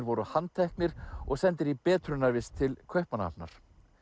voru handteknir og sendir í betrunarvist til Kaupmannahafnar